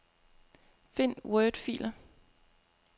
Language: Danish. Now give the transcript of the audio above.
Find wordfiler.